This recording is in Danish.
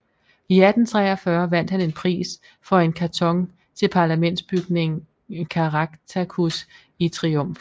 I 1843 vandt han en pris for en karton til parlamentsbygningen Caractacus i triumf